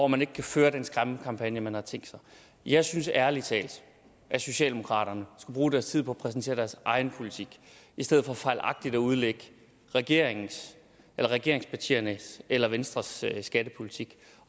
man ikke kan føre den skræmmekampagne man har tænkt sig jeg synes ærlig talt at socialdemokraterne skulle bruge deres tid på at præsentere deres egen politik i stedet for fejlagtigt at udlægge regeringens eller regeringspartiernes eller venstres skattepolitik